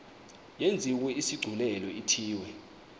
yenziwe isigculelo ithiwe